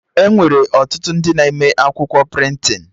Enwere ọtụtụ ndị na-eme akwụkwọ prịntịn